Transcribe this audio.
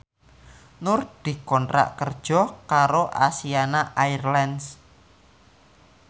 Nur dikontrak kerja karo Asiana Airlines